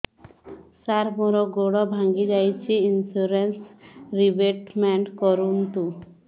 ସାର ମୋର ଗୋଡ ଭାଙ୍ଗି ଯାଇଛି ଇନ୍ସୁରେନ୍ସ ରିବେଟମେଣ୍ଟ କରୁନ୍ତୁ